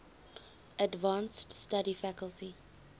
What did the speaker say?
advanced study faculty